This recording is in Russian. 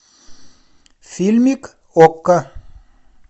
фильмик окко